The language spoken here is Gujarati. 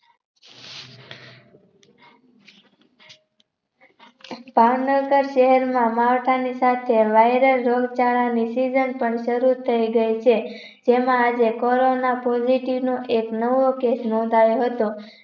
ભાવનગર જીવનમાં માળખાની સાથે virus રોગ ચલણી Season પણ સારું થઇ ગઈ છે. જેમાં આજે Corona positive નો એકનવો case નોધાવ્યો હતો